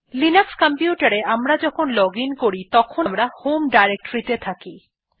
Linux computer এ আমরা যখন লজিন করি তখন আমরা হোম ডিরেক্টরি তে থাকি